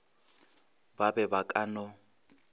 ba be ba ka no